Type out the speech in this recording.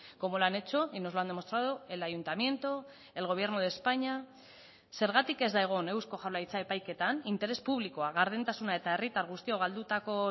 como lo han hecho y nos lo han demostrado el ayuntamiento el gobierno de españa zergatik ez da egon eusko jaurlaritza epaiketan interes publikoa gardentasuna eta herritar guztiok galdutako